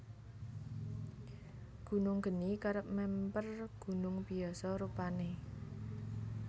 Gunung geni kerep mèmper gunung biyasa rupané